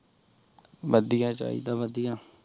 ਵਾਦਿਯ ਚਿੜਾ ਵਾਦਿਯ